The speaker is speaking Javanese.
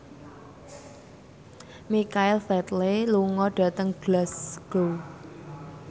Michael Flatley lunga dhateng Glasgow